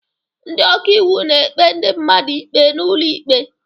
Ndị ọka iwu na-ekpe ndị mmadụ ikpe n'ụlọ ikpe.